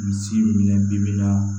Misi minɛ bi bi bi in na